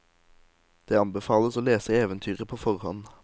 Det anbefales å lese eventyret på forhånd.